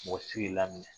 Mɔgɔ si k'i laminɛ